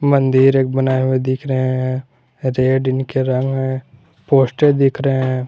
मंदिर एक बनाए हुए दिख रहे हैं रेड इनके रंग है पोस्टर दिख रहे हैं।